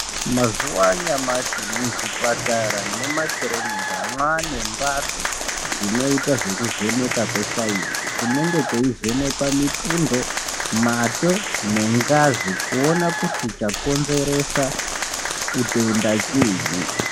Mazuwa anyamashi muzvipatara nemumakirinika mwaane mbatso dzinoita zvekuvheneka kwesainzi kunenga kweivhenekwa mitundo mate nengazi kuona kuti chakonzeresa utenda chiinyi.